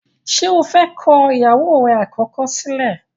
ṣe ọ fè kọ ìyàwó rẹ̀ àkọ́kọ́ sílẹ̀?